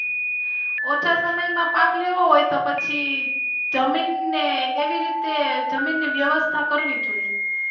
ઓછા સમય માં પાક લેવો હોય તો પછી જમીન ને એવી રીતે જમીન ની વ્યવસ્થા કરવી જોઈએ.